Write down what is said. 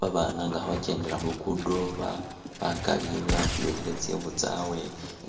Ba bana nga kha bakyendela khu lugudo, ba - bakali betwihile tsikhu tsawe